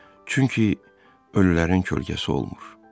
Çünki ölülərin kölgəsi olmur.